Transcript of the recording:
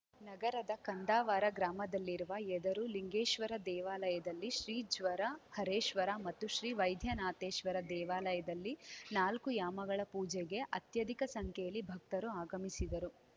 ನಗರದ ಕಂದಾವರ ಗ್ರಾಮದಲ್ಲಿರುವ ಯದರು ಲಿಂಗೇಶ್ವರ ದೇವಾಲಯದಲ್ಲಿ ಶ್ರೀ ಜ್ವರ ಹರೇಶ್ವರ ಮತ್ತು ಶ್ರೀ ವೈದ್ಯನಾಥೇಶ್ವರ ದೇವಾಲಯದಲ್ಲಿ ನಾಲ್ಕು ಯಾಮಗಳ ಪೂಜೆಗೆ ಅತ್ಯಧಿಕ ಸಂಖ್ಯೆಯಲ್ಲಿ ಭಕ್ತರು ಆಗಮಿಸಿದರು